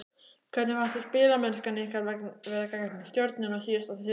Hvernig fannst þér spilamennskan ykkar vera gegn Stjörnunni síðasta þriðjudag?